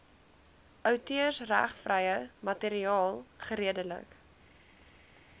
outeursregvrye materiaal geredelik